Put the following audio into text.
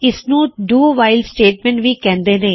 ਇਸਨੂੰ do while statement ਵੀ ਕਹਿੰਦੇ ਨੇ